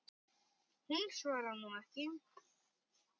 Hún svarar nú ekki.